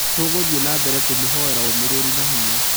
Tũgothiĩ na mbere kũmũhoera ũũmĩrĩrũ na hinya.